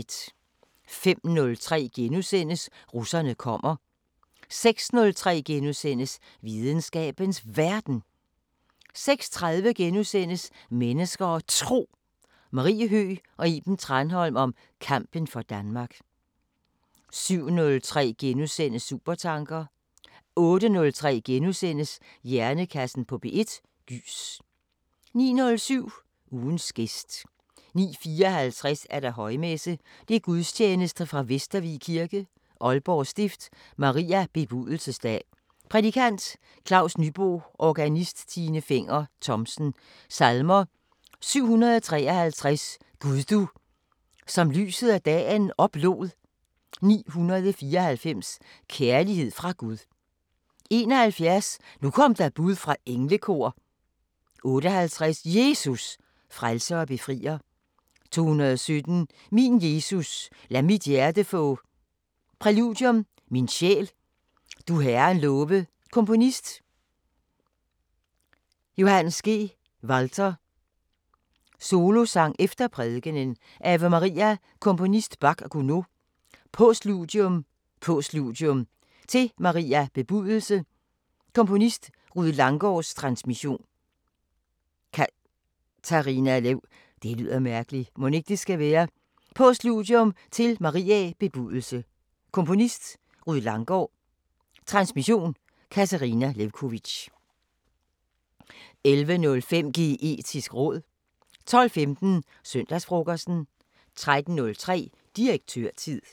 05:03: Russerne kommer * 06:03: Videnskabens Verden * 06:30: Mennesker og Tro: Marie Høgh og Iben Tranholm om kampen for Danmark * 07:03: Supertanker * 08:03: Hjernekassen på P1: Gys * 09:07: Ugens gæst 09:54: Højmesse - Gudstjeneste fra Vestervig Kirke, Aalborg Stift. Maria bebudelsesdag Prædikant: Claus Nybo Organist: Tine Fenger Thomsen Salmer: 753: "Gud du som lyset og dagen oplod" 494: "Kærlighed fra Gud" 71: "Nu kom der bud fra englekor" 58: "Jesus! Frelser og Befrier" 217: "Min Jesus, lad mit hjerte få" Præludium: Min sjæl, du Herren love Komponist: Joh. G. Walther Solosang efter prædikenen: Ave Maria Komponist: Bach/Gounod Postludium: Postludium til Maria bebudelse Komponist: Rued Langgaards Transmission: Katarina Lewkovitch 11:05: Geetisk råd 12:15: Søndagsfrokosten 13:03: Direktørtid